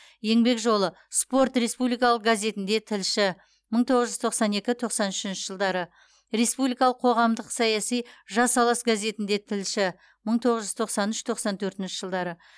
еңбек жолы спорт республикалық газетінде тілші мың тоғыз жүз тоқсан екі тоқсан үшінші жылдары республикалық қоғамдық саяси жас алаш газетінде тілші мың тоғыз жүз тоқсан үш тоқсан төртінші жылдары